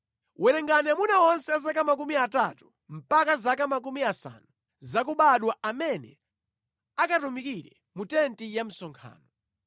Werenga amuna onse a zaka makumi atatu mpaka zaka makumi asanu zakubadwa amene akatumikire mu tenti ya msonkhano.